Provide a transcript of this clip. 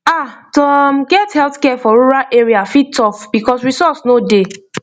ah to um get healthcare for rural area fit tough because resource no dey